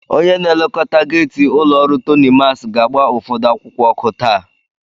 Onye na-elekọta geeti ụlọ ọrụ Tonimas ga-agba ụfọdụ akwụkwọ ọkụ taa.